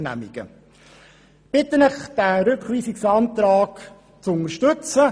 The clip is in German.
Ich bitte Sie, den Rückweisungsantrag zu unterstützen.